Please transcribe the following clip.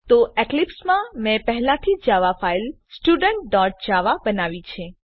તો એક્લીપ્સમાં મેં પહેલાથી જ જાવા ફાઈલ studentજાવા બનાવી છે